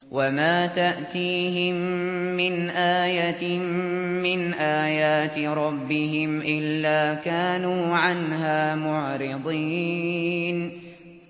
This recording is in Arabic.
وَمَا تَأْتِيهِم مِّنْ آيَةٍ مِّنْ آيَاتِ رَبِّهِمْ إِلَّا كَانُوا عَنْهَا مُعْرِضِينَ